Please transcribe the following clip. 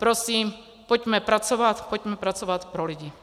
Prosím, pojďme pracovat, pojďme pracovat pro lidi.